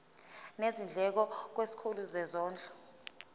nezindleko kwisikhulu sezondlo